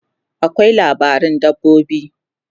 akwai labaran dabbobi